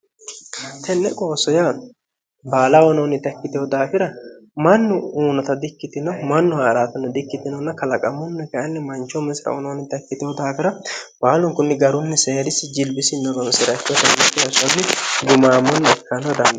tenne qoossoya baala onoonni takkitehu daafira mannu uunota di ikkitino mannu haa'raatinno di ikkitinonna kalaqamunni kainni manchoh misira onoonni takkitehu daafira baalunkunni garunni seerissi jilbisi noronsira ikko jammake essonni gumaammonni ikkanno dano